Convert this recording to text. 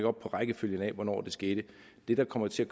op på rækkefølgen af hvornår det skete det der kommer til at